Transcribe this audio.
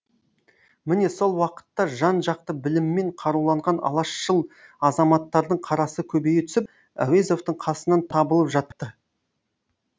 міне сол уақытта жан жақты біліммен қаруланған алашшыл азаматтардың қарасы көбейе түсіп әуезовтің қасынан табылып жатты